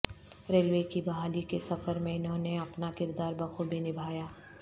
railway کی بحالی کے سفر میں انہوں نے اپنا کردار بخوبی نبھایا